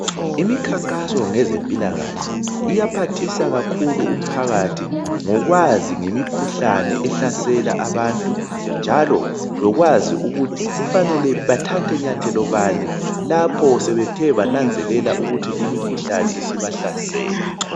Imikhankaso ngezempilakahle iyaphathisa kakhulu umphakathi ngokwazi ngemikhuhlane ehlasela abantu njalo lokwazi ukuthi kufanele bethathe nyathelo bani lapho sebethe bananzelela ukuthi imikhuhlane isibahlasele